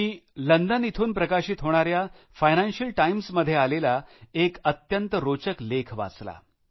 मी London इथून प्रकाशित होणाऱ्या फायनान्शियल टाईम्समध्ये आलेला एक अत्यंत रोचक लेख वाचला